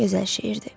Gözəl şeirdir.